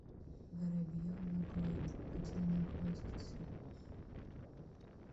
воробьевы горы где находится